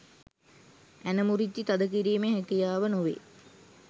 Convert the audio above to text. ඇන මුරිච්චි තද කිරීමේ හැකියාව නොවේ